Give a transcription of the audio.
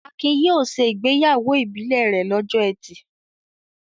Akin yóò ṣe ìgbéyàwó ìbílẹ̀ rẹ̀ lọ́jọ́ ẹtì.